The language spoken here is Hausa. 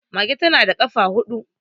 Mage ta na da kafa hudu.